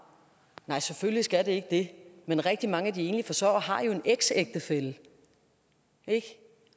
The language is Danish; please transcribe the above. nej selvfølgelig skal det ikke det men rigtig mange af de enlige forsørgere har jo en eksægtefælle